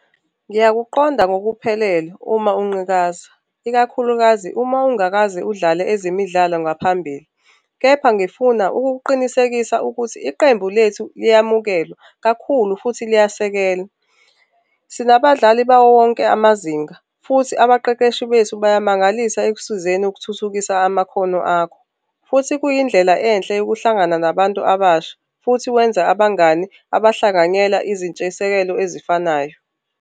Ngiyakuqonda ngokuphelele uma unqikaza, ikakhulukazi uma ungakaze udlale ezemidlalo ngaphambili. Kepha ngifuna ukukuqinisekisa ukuthi iqembu lethu liyamukelwa kakhulu futhi liyasekelwa. Sinabadlali bawo wonke amazinga futhi abaqeqeshi bethu bayamangalisa ekusizeni ukuthuthukisa amakhono akho, futhi kuyindlela enhle yokuhlangana nabantu abasha futhi wenze abangani abahlanganyela izintshisekelo ezifanayo.